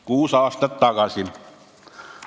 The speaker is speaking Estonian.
Kuus aastat tagasi!